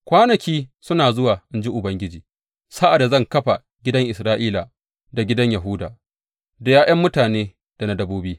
Kwanaki suna zuwa, in ji Ubangiji, sa’ad da zan kafa gidan Isra’ila da gidan Yahuda da ’ya’yan mutane da na dabbobi.